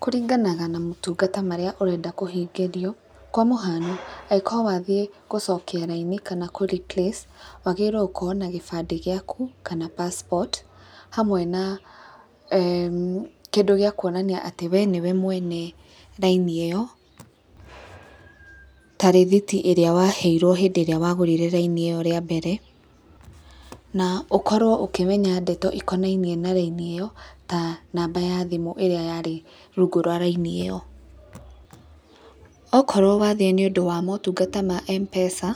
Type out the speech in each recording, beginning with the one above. Kũringanaga na motungata marĩa ũrenda kũhingĩrio, kwa mũhano angĩkorwo wathiĩ gũcokia raini kana kũ replace, wagĩrĩirwo gũkorwo na gĩbandĩ gĩaku, kana passport hamwe na eeh kĩndũ gĩakuonania atĩ wee nĩwe mwene raini ĩyo, ta rithiti ĩrĩa waheirwo hĩndĩ ĩrĩa wagũrire raini ĩyo rĩa mbere na ũkorwo ũkĩmenya ndeto ikonainie na raini ĩyo, ta namba ya thimũ ĩrĩa yarĩ rungu rwa raini ĩyo. Okorwo wathiĩ nĩ ũndũ wa motungata ma Mpesa,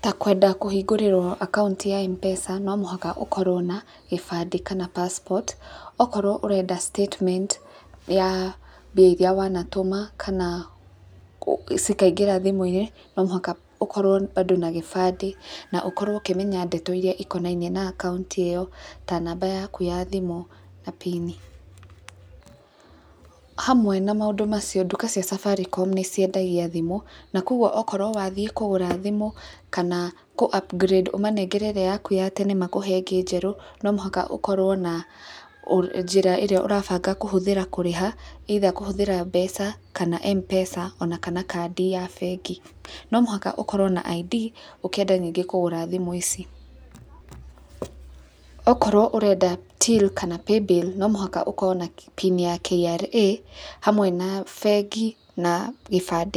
ta kwenda kũhingũrĩrwo akaunti ya Mpesa no mũhaka ũkorwo na gĩbandĩ kana passport, okorwo ũrenda statement, ya mbia iria wanatũma kana cikaingĩra thimũ-inĩ no mũhaka ũkorwo bado na gĩbandĩ na ũkorwo ũkĩmenya ndeto iria ikonainie na akaunti ĩyo ta namba yaku ya thimũ na pini. Hamwe na maũndũ macio, nduka cia Safaricom nĩ ciendagia thimũ na koguo okorwo wathiĩ kũgũra thimũ kana kũ upgrade, ũmanengere ĩrĩa yaku ya tene makũhe ĩngĩ njerũ, no mũhaka ũkorwo na njĩra ĩrĩa ũrabanga kũhũthĩra kũrĩha, either kũhũthĩra mbeca kana mpesa ona kana kandi ya bengi, no mũhaka ũkorwo na ID ukĩenda ningĩ kũgũra thimũ ici. Okorwo ũrenda till kana paybill no mũhaka ũkorwo na pin ya KRA hamwe na bengi na gĩbandĩ.